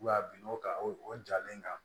A bin'o kan o jalen kan